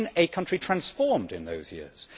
I have seen a country transformed in those years.